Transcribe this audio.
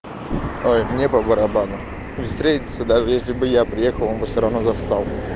ой мне по барабану ну встретиться даже если бы я приехал он бы всё равно зассал